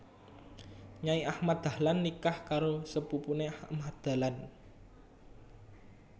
Nyai Ahmad Dahlan nikah karo sepupune Ahmad Dahlan